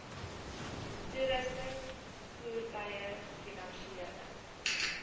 toerusting voertuie finansiële